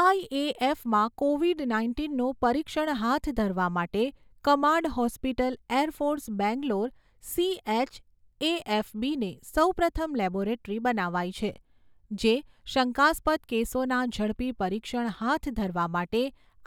આઈએએફમાં COVID નાઇન્ટીનનું પરીક્ષણ હાથ ધરવા માટે command hospital air force Bangalore CHAFB ને સૌપ્રથમ લેબોરેટરી બનાવાઈ છે, જે શંકાસ્પદ કેસોના ઝડપી પરીક્ષણ હાથ ધરવા માટે